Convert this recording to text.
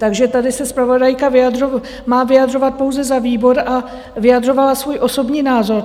Takže tady se zpravodajka má vyjadřovat pouze za výbor a vyjadřovala svůj osobní názor.